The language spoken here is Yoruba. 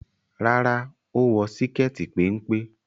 Rárá, ó wọ síkẹ́ẹ̀tì péńpé.